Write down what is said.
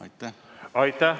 Aitäh!